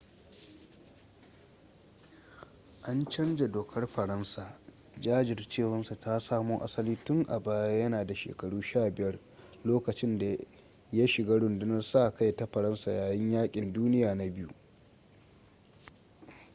an canza dokar faransa jajircewar sa ta samo asali tun a baya yana da shekaru 15 lokacin da ya shiga rundunar sa-kai ta faransa yayin yakin duniya na ll